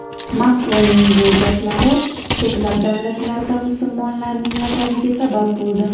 Makronning bu gaplari ko‘plab davlatlarda musulmonlarning g‘azabiga sabab bo‘ldi.